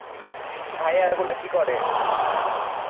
ভাইয়ারা গুলো কি করে?